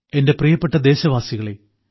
എന്റെ പ്രിയപ്പെട്ട ദേശവാസികളെ